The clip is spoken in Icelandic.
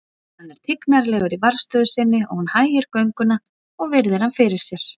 Hann er tignarlegur í varðstöðu sinni og hún hægir gönguna og virðir hann fyrir sér.